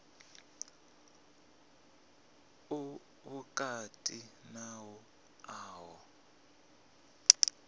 u vhukati na u oa